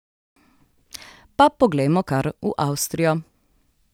Pa poglejmo kar v Avstrijo.